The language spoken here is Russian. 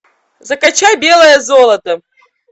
закачай белое золото